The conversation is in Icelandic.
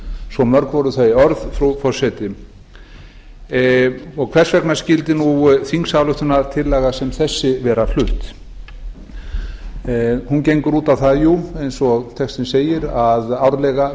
svo mörg voru þau orð frú forseti hvers vegna skyldi þingsályktunartillaga sem þessi vera flutt jú hún gengur út á það eins og textinn segir að árlega